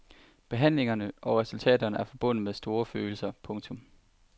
Behandlingerne og resultaterne er forbundet med store følelser. punktum